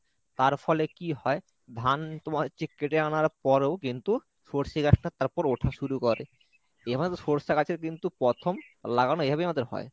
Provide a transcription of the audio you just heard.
তার ফলে কি হয় ধান তোমার হচ্ছে কেটে আনার পরেও কিন্তু সর্ষে গাছটা তারপর ওঠা শুরু করে এভাবে সর্ষে গাছের কিন্তু প্রথম লাগানো এভাবেই আমাদের হয়।